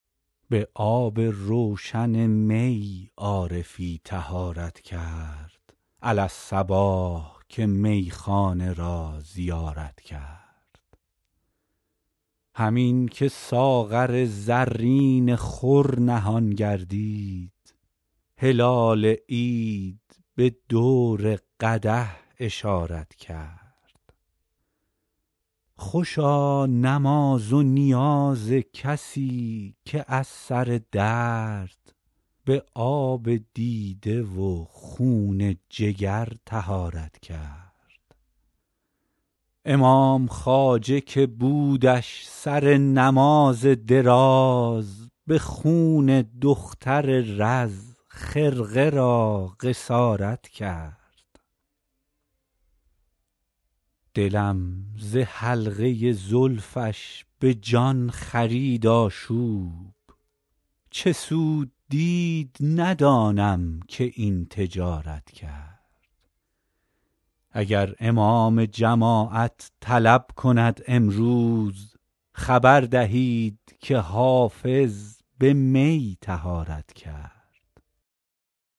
به آب روشن می عارفی طهارت کرد علی الصباح که میخانه را زیارت کرد همین که ساغر زرین خور نهان گردید هلال عید به دور قدح اشارت کرد خوشا نماز و نیاز کسی که از سر درد به آب دیده و خون جگر طهارت کرد امام خواجه که بودش سر نماز دراز به خون دختر رز خرقه را قصارت کرد دلم ز حلقه زلفش به جان خرید آشوب چه سود دید ندانم که این تجارت کرد اگر امام جماعت طلب کند امروز خبر دهید که حافظ به می طهارت کرد